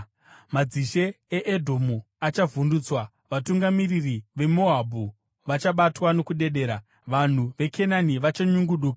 Madzishe eEdhomu achavhundutswa, vatungamiri veMoabhu vachabatwa nokudedera, vanhu veKenani vachanyunguduka;